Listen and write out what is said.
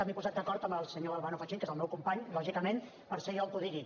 m’he posat d’acord amb el senyor albano fachin que és el meu company lògicament per ser jo el que ho digui